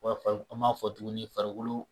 An b'a fɔ tuguni farikolo